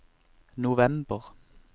november